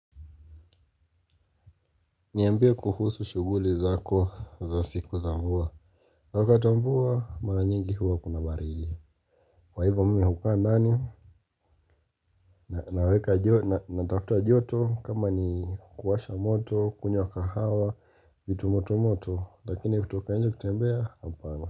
Niambie kuhusu shuguli zako za siku za mvua. Wakati wa mvua, mara nyingi huwa kuna barili. Kwa hivo mimi hukaa ndani, naweka na tafta joto kama ni kuwasha moto, kunywa kahawa, vitu moto moto, lakini kutoka nje kutembea hapana.